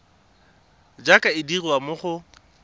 jaaka e dirwa mo go